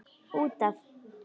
Út af.